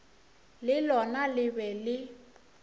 le lona le be le